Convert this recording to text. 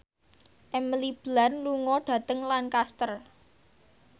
Emily Blunt lunga dhateng Lancaster